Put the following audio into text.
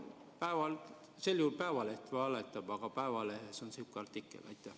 Sel juhul Eesti Päevaleht valetab, aga sihuke artikkel seal on.